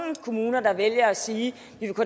kommuner der vælger at sige